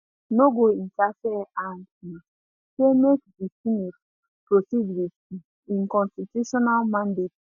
no go interfere and um say make make di senate proceed with um im constitutional mandate